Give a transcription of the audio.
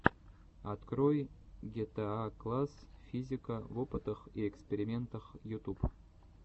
открой гетаакласс физика в опытах и экспериментах ютуб